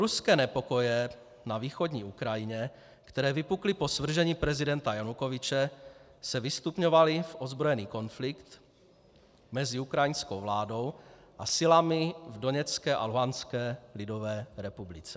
Proruské nepokoje na východní Ukrajině, které vypukly po svržení prezidenta Janukovyče, se vystupňovaly v ozbrojený konflikt mezi Ukrajinskou vládou a silami v Doněcké a Luhanské lidové republice.